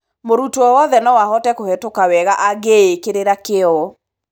Mũrutwo wothe no ahote kũhĩtũka wega angĩĩkĩrĩra kĩo.